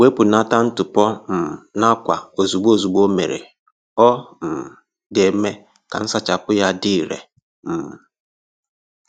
Wepụnata ntụpọ um n'akwa ozugbo ozugbo o mere, ọ um ga-eme ka nsachapụ ya dị ire. um